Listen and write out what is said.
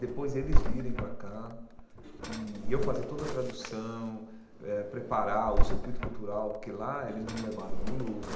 Depois, eles virem para cá e eu fazer toda a tradução, eh preparar o circuito cultural, porque lá eles nos levaram, no Louvre,